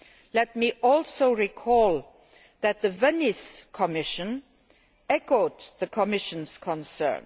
Let me also recall that the Venice Commission echoed the Commission's concern.